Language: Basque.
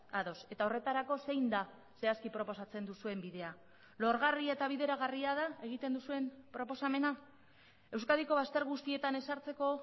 ados eta horretarako zein da zehazki proposatzen duzuen bidea lorgarri eta bideragarria da egiten duzuen proposamena euskadiko bazter guztietan ezartzeko